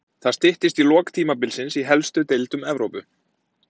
Það styttist í lok tímabilsins í helstu deildum Evrópu.